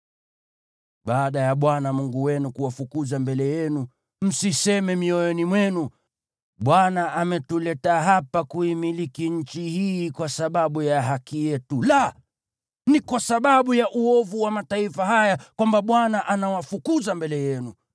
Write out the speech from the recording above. Baada ya Bwana Mungu wenu kuwafukuza mbele yenu, msiseme mioyoni mwenu, “ Bwana ametuleta hapa kuimiliki nchi hii kwa sababu ya haki yetu.” La, ni kwa sababu ya uovu wa mataifa haya ndiyo Bwana anawafukuza mbele yenu.